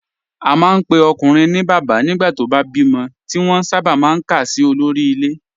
A máa ń pe ọkùnrin ní bàbá nígbà tó bá bímọ, tí wọ́n sábà máa ń kà sí olórí ilé